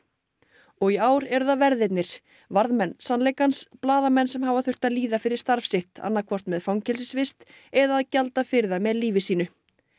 og í ár eru það verðirnir varðmenn sannleikans blaðamenn sem hafa þurft að líða fyrir starf sitt annaðhvort með fangelsisvist eða að gjalda fyrir það með lífi sínu